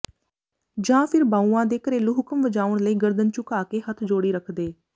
ਜਾਂ ਫਿਰ ਬਾਊਆਂ ਦੇ ਘਰੇਲੂ ਹੁਕਮ ਵਜਾਉਣ ਲਈ ਗਰਦਨ ਝੁਕਾ ਕੇ ਹੱਥ ਜੋੜੀ ਰੱਖਦੇ